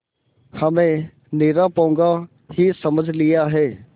हमें निरा पोंगा ही समझ लिया है